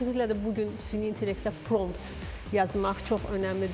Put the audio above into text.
Xüsusilə də bu gün süni intellektdə prompt yazmaq çox önəmlidir.